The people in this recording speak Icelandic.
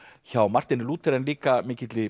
hjá Marteini Lúther en líka mikilli